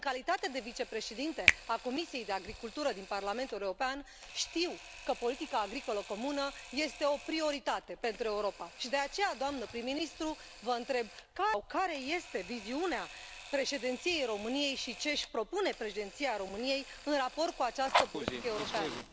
În calitate de vicepreședintă a Comisiei pentru agricultură din Parlamentul European, știu că politica agricolă comună este o prioritate pentru Europa și, de aceea, doamnă prim ministru, vă întreb care este viziunea Președinției României și ce își propune Președinția României în raport cu această poziție europeană?